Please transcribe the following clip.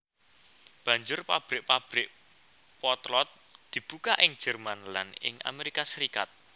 Banjur pabrik pabrik potlot dibuka ing Jerman lan ing Amerika Serikat